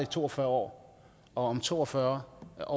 to og fyrre år og om to og fyrre år